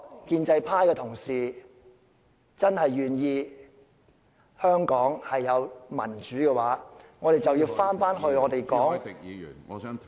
建制派同事如果真的希望香港有民主，我們就要回到......